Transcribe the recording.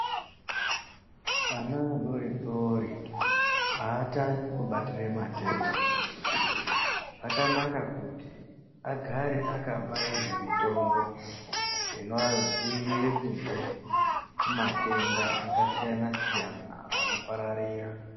Vana adodori aatani kubatira matenda zvakanaka kuti agare akabairwe mitombo inoadzirire kubve kumatenda akasiyana siyana anopararira.